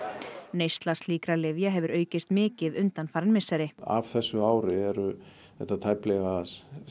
neysla slíkra lyfja hefur aukist mikið undanfarin misseri af þessu ári eru þetta tæplega